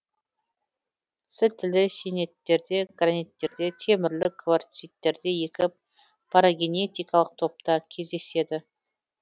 сілтілі сиениттерде граниттерде темірлі кварциттерде екі парагенетикалық топта кездеседі